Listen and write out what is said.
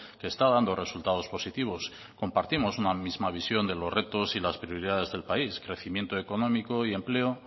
que está dando resultados positivos compartimos una misma visión de los retos y las prioridades del país crecimiento económico y empleo